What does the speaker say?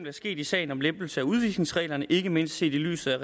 er sket i sagen om lempelse af udvisningsreglerne ikke mindst set i lyset af